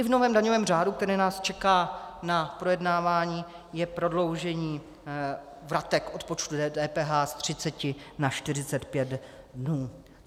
I v novém daňovém řádu, který nás čeká k projednávání, je prodloužení vratek odpočtu DPH z 30 na 45 dnů.